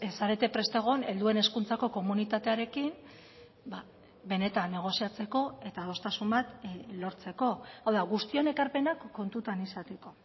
zarete prest egon helduen hezkuntzako komunitatearekin benetan negoziatzeko eta adostasun bat lortzeko hau da guztion ekarpenak kontutan izateko